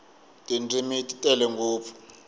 tindzimi ti tele ngopfu